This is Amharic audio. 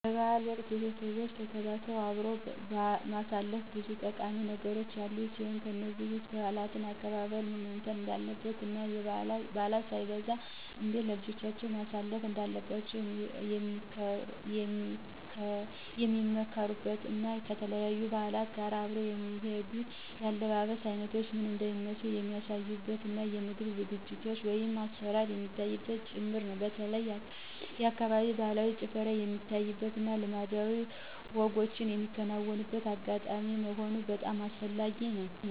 በ በዓል ወቅት ቤተቦች ተሰባስበው አብሮ ማሳለፍ ብዙ ጠቃሚ ነገሮች ያሉት ሲሆን ከነዚህም ውስጥ የበዓላት አከባበር ምን መምሰል እንዳለበት እና ባዕላት ሳይበረዙ እንዴት ለልጆቻቸው ማስተላለፍ እንዳለባቸዉ ሚመካከሩበት እና ከተለያዩ በዓላት ጋር አብረው የሚሄዱት የአለባበስ አይነቶች ምን እንደሚመስሉ የሚያሳዩበት እና የምግብ ዝግጅት(አሰራር) የሚታይበትም ጭምር ነው። በተለይ የአካባቢው ባህላዊ ጭፈራ የሚታይበት እና ልማዳዊ ወጎች ሚከናወንበት አጋጣሚ መሆኑ በጣም አስፈላጊ ነው።